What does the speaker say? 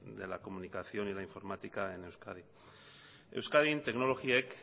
de la comunicación y de la informática en euskadi euskadin teknologiek